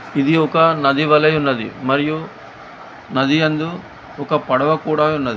ఇది ఒక నది వలె ఉన్నది మరియు నది యందు ఒక పడవ కూడా ఉన్నది.